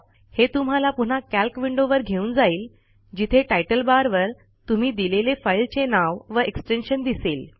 हे तुम्हाला पुन्हा कॅल्क विंडोवर घेऊन जाईल जिथे टायटल बारवर तुम्ही दिलेले फाईलचे नाव व एक्सटेन्शन दिसेल